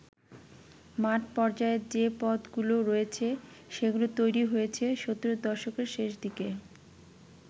মাঠ পর্যায়ে যে পদগুলো রয়েছে, সেগুলো তৈরী হয়েছে সত্তরের দশকের শেষদিকে।